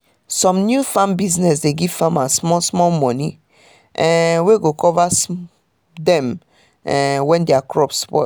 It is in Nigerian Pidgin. some new farm business dey give farmers small small money um wey go cover dem um when their crops spoil